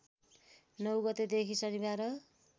९ गतेदेखि शनिबार